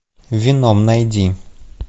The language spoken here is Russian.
веном найди